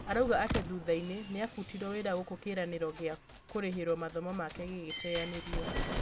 arauga atĩ thutha-inĩ nĩabutirwo wĩra gũkũ kĩranĩro gĩa kũrĩhĩrwo mathomo make gĩgĩteyanĩrio